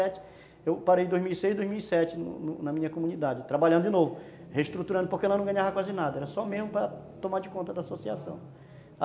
Eu parei em dois mil e seis, dois mil e sete na minha comunidade, trabalhando de novo, reestruturando, porque lá não ganhava quase nada, era só mesmo para tomar de conta da associação.